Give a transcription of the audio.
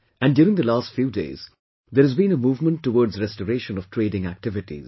And during the last few days there has been a movement towards restoration of trading activities